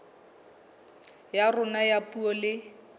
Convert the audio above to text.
ya rona ya puo le